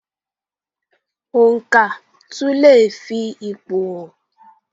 Oǹkà tún leè fi ipò hàn.